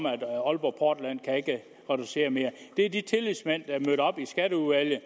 at aalborg portland ikke kan reducere mere det er de tillidsmænd der er mødt op i skatteudvalget